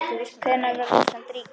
Hvenær varð Ísland ríki?